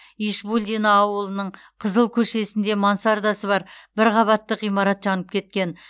ишбулдино ауылының қызыл көшесінде мансардасы бар бір қабатты ғимарат жанып кеткен